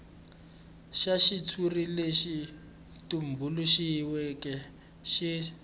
xa xitshuri lexi tumbuluxiweke xi